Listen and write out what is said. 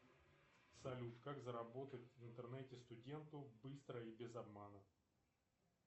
салют как заработать в интернете студенту быстро и без обмана